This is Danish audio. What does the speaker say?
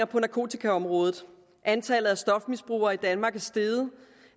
på narkotikaområdet antallet af stofmisbrugere i danmark er steget